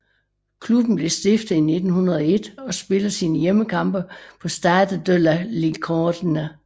Klubben blev stiftet i 1901 og spiller sine hjemmekampe på Stade de la Licorne